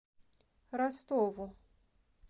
ростову